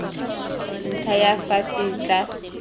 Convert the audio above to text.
ntlha ya fa se tla